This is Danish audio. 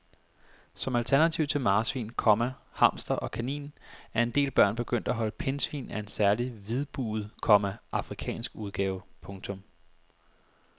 Som alternativ til marsvin, komma hamster og kanin er en del børn begyndt at holde pindsvin af en særlig hvidbuget, komma afrikansk udgave. punktum